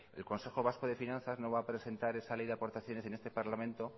el consejo vasco de finanzas no va a presentar esa ley de aportaciones en este parlamento